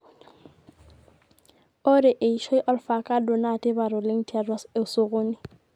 ore eishoi olfakado naa tipat oleng tiatua osokoni